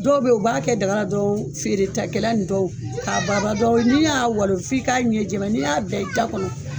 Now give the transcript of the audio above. Dɔw bɛ ye u b'a kɛ dagala dɔrɔn feere ta kɛla nin dɔw, ka balabala dɔrɔn ni y'a walon f'i k'a ɲɛ jɛman ye. N'i y'a bila i da kɔnɔ.